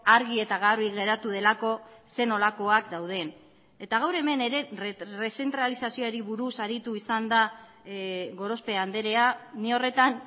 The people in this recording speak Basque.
argi eta garbi geratu delako zer nolakoak dauden eta gaur hemen ere errezentralizazioari buruz aritu izan da gorospe andrea ni horretan